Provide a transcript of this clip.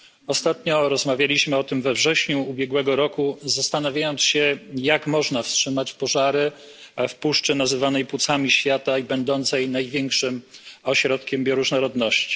Ostatnio rozmawialiśmy o tym we wrześniu ubiegłego roku, zastanawiając się, jak można wstrzymać pożary w puszczy nazywanej płucami świata i będącej największym ośrodkiem bioróżnorodności.